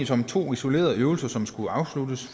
som to isolerede øvelser som skulle afsluttes